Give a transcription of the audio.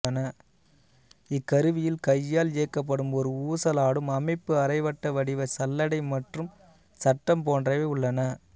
இக்கருவியில் கையால் இயக்கப்படும் ஒரு ஊசலாடும் அமைப்பு அரைவட்ட வடிவ சல்லடை மற்றும் சட்டம் போன்றவை உள்ளன